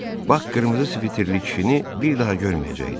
Bak qırmızı sviterli kişini bir daha görməyəcəkdi.